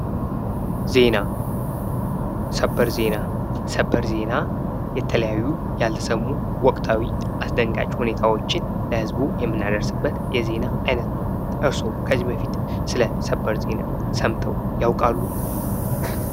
ዜና ሰበር ዜና ሰበር ዜና የተለያዩ ያልተሰሙ ፥ወቅታዊ ፥አስደንጋጭ ሁኔታዎችን ለህዝቡ የምናደርስበት የዜና አይነት ነው። እርስዎ ከዚህ በፊት ስለ ሰበር ዜና ሰምተው ያውቃሉ?